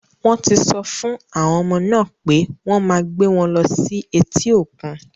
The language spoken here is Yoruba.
Wọ́n ti sọ fún àwọn ọmọ náà pé wọ́n máa gbé wọn lọ sí etí òkun.